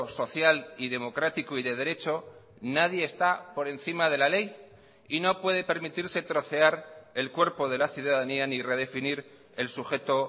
social y democrático y de derecho nadie está por encima de la ley y no puede permitirse trocear el cuerpo de la ciudadanía ni redefinir el sujeto